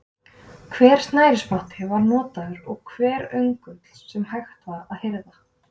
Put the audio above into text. Hver snærisspotti var notaður og hver öngull sem hægt var að hirða.